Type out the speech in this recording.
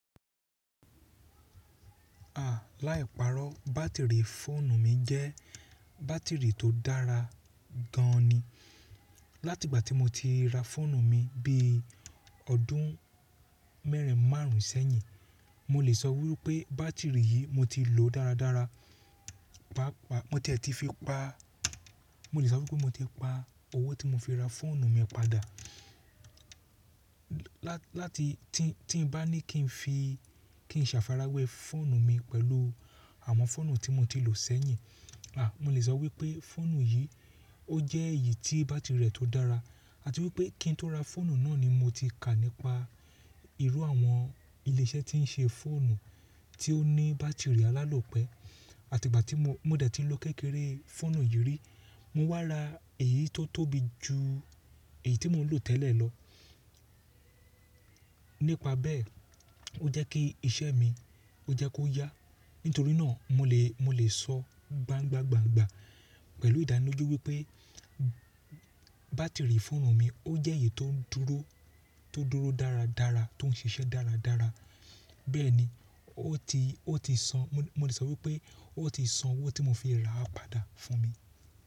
À láìparọ́ bátìrì fóònù mi jẹ́ bátìrì tó dára gan ni. Láti ìgbà tí mo ti ra fóònù mi bí ọdún mẹ́rin márùn sẹ́yìn, mo lè sọ wípé bátìrì yí mo ti lò dáradára. Mo tiẹ̀ ti fi pa, mo lè sọ wípé mo ti pa owó tí mo fi ra fóònù mi padà. Láti tí n bá ní kí n fi, kí n safarawé fóònù mi pẹ̀lú àwọn fóònù tí mo ti lò sẹ́yìn, a mo lè sọ wípé fóònù yí o jẹ́ èyí tí bátìrì rẹ̀ tó dára àti wípé kí n tó ra fóònù náà ni mo ti kà nípa ìrú àwọn ilé iṣẹ́ tí ń ṣe fóònù tí ó ní bátìrì alálòpẹ́. Àti ìgbà tí mo, mo dẹ̀ ti ń lo kékeré fóònù yìí rí, mo wá ra èyí tó tóbi jù èyí tí mo ń lò tẹ́lẹ̀ lọ. Nípa bẹ́ẹ̀ ó jẹ́ kí iṣẹ́ mi ó jẹ́ kó yá. Nítorí náà mo lè, mo lè sọ gbangbagba pẹ̀lú ìdánilójú wípé bátìrì fóònù mi ó jẹ́ èyí tó ń dúró, tó dúró dáradára, tó ń ṣiṣẹ́ dáradára. Bẹ́ẹ̀ ni ó ti, ó ti san, mo lè sọ wípé ó ti san owó tí mo fi ra á padà fún mi.